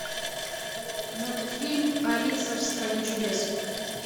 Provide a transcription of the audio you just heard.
мультфильм алиса в стране чудес